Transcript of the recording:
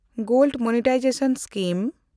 gold monetisation scheme